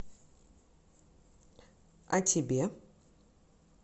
а тебе